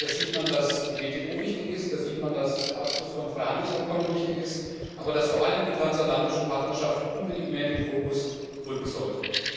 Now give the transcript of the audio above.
Da sieht man, dass die WTO wichtig ist, da sieht man, dass der Abschluss von Freihandelsabkommen wichtig ist, aber dass vor allem die Transatlantische Partnerschaft unbedingt mehr in den Fokus rücken sollte.